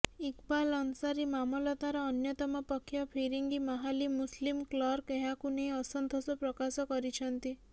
ଇକବାଲ୍ ଅନସାରୀ ମାମଲତାର ଅନ୍ୟତମ ପକ୍ଷ ଫିରିଙ୍ଗି ମାହାଲି ମୁସଲିମ୍ କ୍ଲର୍କ ଏହାକୁ ନେଇ ଅସନ୍ତୋଷ ପ୍ରକାଶ କରିଛନ୍ତି